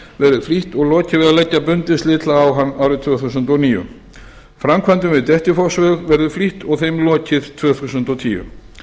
verður flýtt og lokið við að leggja bundið slitlag á hann árið tvö þúsund og níu framkvæmdum við dettifossveg verður flýtt og þeim lokið tvö þúsund og tíu